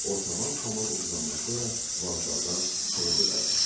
O, tamam Kamal uduzandan sonra vağzaldan təzəcə qayıtmışdı.